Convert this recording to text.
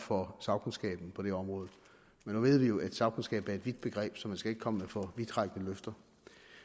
for sagkundskaben på det område men nu ved vi jo at sagkundskab er et vidt begreb så man skal ikke komme med for vidtrækkende løfter